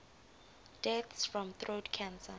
deaths from throat cancer